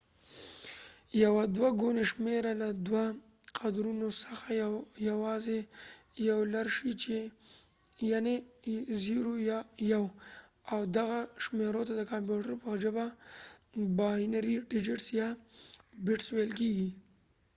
یوه دوه ګونې شمېره له دوو قدرونو څخه یواځې یو لرلې شي یعني 0 یا 1 او دغه شمېرو ته د کمپیوټرو په خپله ژبه باینري ډیجټس یا بټس ویل کیږي